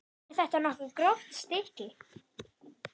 Er þetta nokkuð gróft stykki?